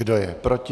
Kdo je proti?